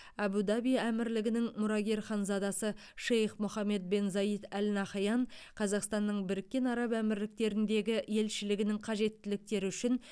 әбу даби әмірлігінің мұрагер ханзадасы шейх мұхаммед бен заид әл нахаян қазақстанның біріккен араб әмірліктеріндегі елшілігінің қажеттіліктері үшін